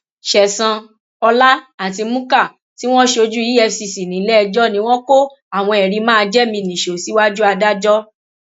ṣẹsan ọlá àtimukhar tí wọn ṣojú efcc nílẹẹjọ ni wọn kó àwọn ẹrí máa jẹ mí nìṣó síwájú adájọ